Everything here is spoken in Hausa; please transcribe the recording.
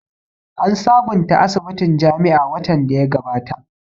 An sabonta asibitin jami'a watan da ya gabata